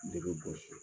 Ne bɛ bɔ so